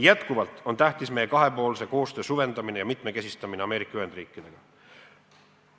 Jätkuvalt on tähtis süvendada ja mitmekesistada meie kahepoolset koostööd Ameerika Ühendriikidega.